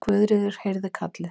Guðríður heyrði kallið.